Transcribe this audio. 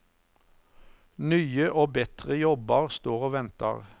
Nye og betre jobbar står og ventar.